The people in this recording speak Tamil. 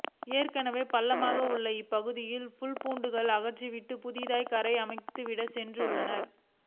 ஏற்கனவே பள்ளமாக உள்ள இப்பகுதியில் புல்பூண்டுகளை அகற்றிவிட்டு புதிதாக கரையை அமைத்துவிட்டு சென்றுள்ளனர்